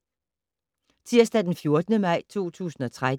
Tirsdag d. 14. maj 2013